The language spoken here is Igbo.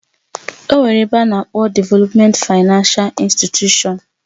Onwere ebe ana akpo Devèlopment Finánce Instịtushọ̀n